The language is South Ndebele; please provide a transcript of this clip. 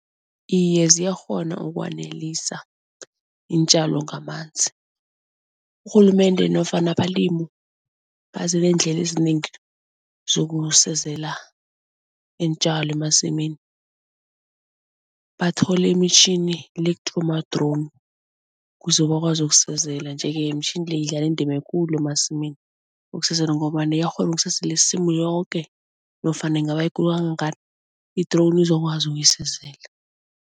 Iye ziyakghona ukwanelisa iintjalo ngamanzi. Urhulumende nofana abalimu ezinengi zokusezela iintjalo emasimini. Bathole imitjhini ma-drone kuze bakwazi ukusezela nje-ke imitjhini le idlala indima ekulu emasimini ngombana iyakghona isimu yoke nofana ingaba yikulu kangangani i-drone izokwazi ukuyisizela.